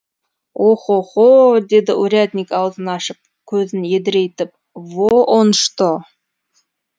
о хо хо деді урядник аузын ашып көзін едірейтіп во он что